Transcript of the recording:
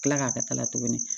Kila k'a ka kala tuguni